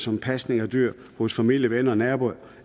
om pasning af dyret hos familie venner naboer